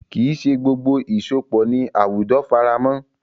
Kì í ṣe gbogbo ìsopọ̀ ni àwùjọ faramọ́.